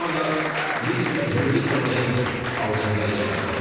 Və şu anda biz bir cümlə savaşın altındayız şu anda.